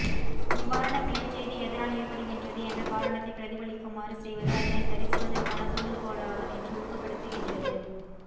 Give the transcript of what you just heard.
இவ்வாறான பிழைச்செய்தி எதனால் ஏற்படுகின்றது என்ற காரணத்தை பிரதிபலிக்குமாறு செய்வது அதனை சரிசெய்வதற்கான தூண்டுகோலாக நின்று ஊக்கப்படுத்துகின்றது